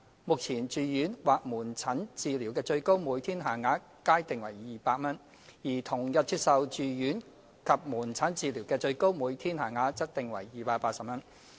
目前，住院或門診治療的最高每天限額皆定為200元，而同日接受住院及門診治療的最高每天限額則定為280元。